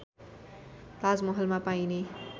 ताजमहलमा पाइने